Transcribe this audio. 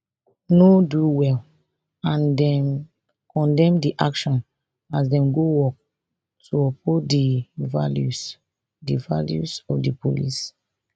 no do well and dem condemn di action as dem go work to uphold di values di values of di police